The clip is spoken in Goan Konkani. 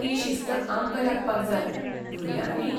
ती शिस्त आमकां लागपाक जाय, भुरग्यांक न्ही.